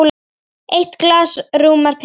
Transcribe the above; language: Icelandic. Eitt glas rúmar pelinn.